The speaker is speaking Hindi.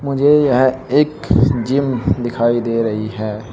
मुझे यह एक जिम दिखाई दे रही है।